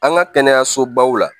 An ka kɛnɛyasobaw la